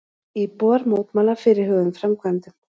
Íbúar mótmæla fyrirhuguðum framkvæmdum